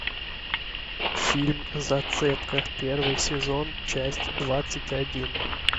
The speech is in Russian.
фильм зацепка первый сезон часть двадцать один